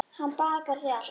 Hann bakar þig alltaf.